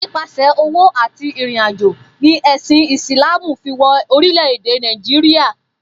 Nípasè̩ òwò àti ìrìnàjò ni è̩sìn Ìsláàmù fi wo̩ orílè̩-èdè Nàìjíríà